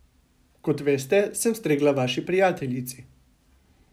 Kot veste, sem stregla vaši prijateljici.